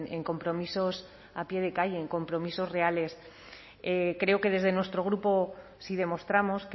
en compromisos a pie de calle en compromisos reales creo que desde nuestro grupo sí demostramos